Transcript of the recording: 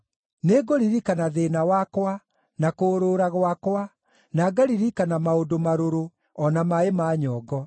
Nĩngũririkana thĩĩna wakwa, na kũũrũũra gwakwa, na ngaririkana maũndũ marũrũ, o na maaĩ ma nyongo.